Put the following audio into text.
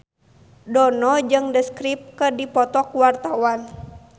Dono jeung The Script keur dipoto ku wartawan